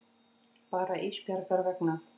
Bara Ísbjargar vegna.